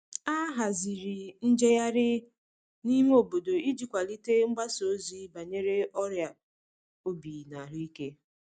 A haziri njeghari n'ime obodo iji kwalite mgbasa ozi banyere ọria obi na ahuike